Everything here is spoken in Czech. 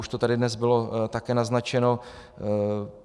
Už to tady dnes bylo také naznačeno.